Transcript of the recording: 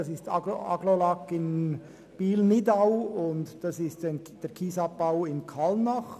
Es handelt sich um Agglolac in Biel-Nidau, und um den Kiesabbau in Kallnach.